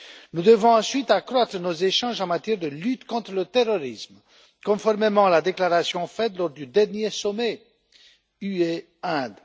Nous devons ensuite accroître nos échanges en matière de lutte contre le terrorisme, conformément à la déclaration faite lors du dernier sommet UE Inde.